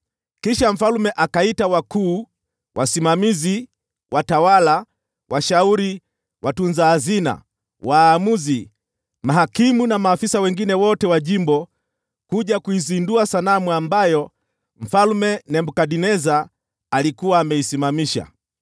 Kisha mfalme akaita wakuu, wasimamizi, watawala, washauri, watunza hazina, waamuzi, mahakimu na maafisa wengine wote wa jimbo kuja kuizindua sanamu ambayo Mfalme Nebukadneza alikuwa ameisimamisha.